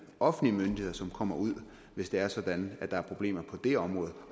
offentlige myndigheder som kommer ud hvis det er sådan at der er problemer på det område